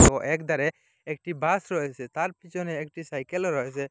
তো একধারে একটি বাস রয়েছে তার পিছনে একটি সাইকেলও রয়েছে।